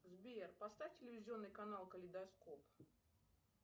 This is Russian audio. сбер поставь телевизионный канал калейдоскоп